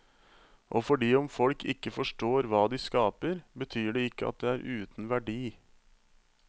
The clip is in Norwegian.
Og fordi om folk ikke forstår hva de skaper, betyr det ikke at det er uten verdi.